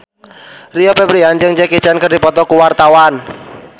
Rio Febrian jeung Jackie Chan keur dipoto ku wartawan